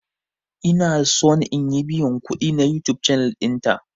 Ina son in yi biyan kudi na YouTube channel dinta.